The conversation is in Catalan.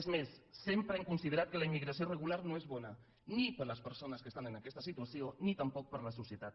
és més sempre hem considerat que la immigració regular no és bona ni per a les persones que estan en aquesta situació ni tampoc per a la societat